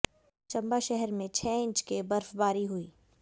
चंबा शहर में छह इंच के बर्फबारी हुई